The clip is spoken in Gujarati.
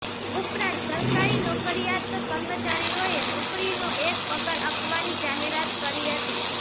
ઉપરાંત સરકારી નોકરિયાત કર્મચારીઓએ નોકરીનો એક પગાર આપવાની જાહેરાત કરી હતી